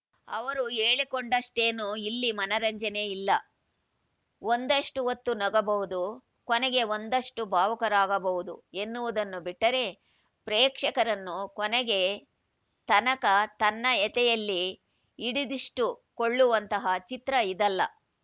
ಅವರು ಹೇಳಿಕೊಂಡಷ್ಟೇನು ಇಲ್ಲಿ ಮನರಂಜನೆ ಇಲ್ಲ ಒಂದಷ್ಟುಹೊತ್ತು ನಗಬಹುದು ಕೊನೆಗೆ ಒಂದಷ್ಟುಭಾವುಕರಾಗಬಹುದು ಎನ್ನುವುದನ್ನು ಬಿಟ್ಟರೆ ಪ್ರೇಕ್ಷಕರನ್ನು ಕೊನೆಗೆ ತನಕ ತನ್ನಯತೆಯಲ್ಲಿ ಹಿಡಿದಿಷ್ಟುಕೊಳ್ಳುವಂತಹ ಚಿತ್ರ ಇದಲ್ಲ